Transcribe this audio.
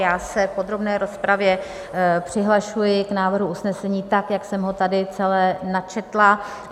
Já se v podrobné rozpravě přihlašuji k návrhu usnesení tak, jak jsem ho tady celé načetla.